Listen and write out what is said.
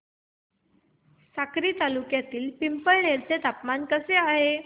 साक्री तालुक्यातील पिंपळनेर चे तापमान कसे आहे